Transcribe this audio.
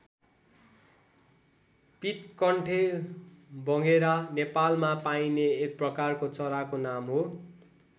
पीतकण्ठे भँगेरा नेपालमा पाइने एक प्रकारको चराको नाम हो।